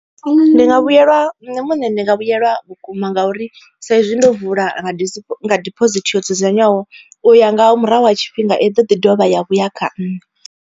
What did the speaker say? Ndi nga vhuyelwa nṋe muṋe ndi nga vhuyelwa vhukuma ngauri sa izwi ndo vula disipho nga diphosithi yo dzudzanywaho u ya nga murahu ha tshifhinga i ḓo ḓi dovha ya vhuya kha nṋe.